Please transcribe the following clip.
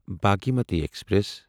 Bhagmati express